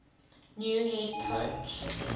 new head coach